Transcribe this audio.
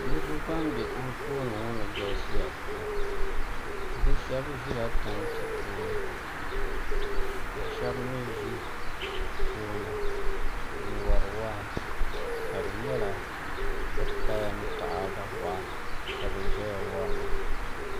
Niriba ban be anfooni ŋɔ ni galisiya pam bɛ shɛb ʒila tanti puuni ka shɛb mi ʒi puuni n wari waa ka di nyɛla bɛ kaya ni taada waa ka bɛ ʒiya wari maa